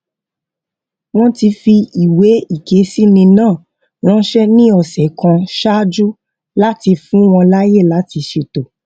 wón ti fi ìwé ìkésíni náà ránṣé ní òsè kan ṣáájú láti fún wọn láàyè láti ṣètò